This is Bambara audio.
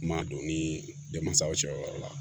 Kuma don ni denmansaw cɛ o yɔrɔ la